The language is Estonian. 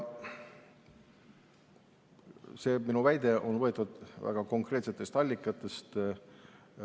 See minu väide on võetud väga konkreetsest allikast.